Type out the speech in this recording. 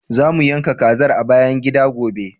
Za mu yanka kazar a bayan gida, gobe.